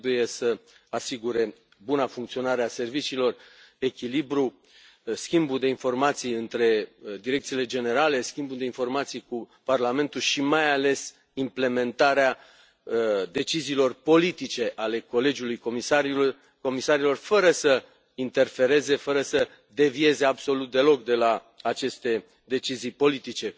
Trebuie să asigure buna funcționare a serviciilor, echilibru, schimbul de informații între direcțiile generale, schimbul de informații cu Parlamentul și, mai ales, implementarea deciziilor politice ale colegiului comisarilor, fără să interfereze, fără să devieze, absolut deloc, de la aceste decizii politice.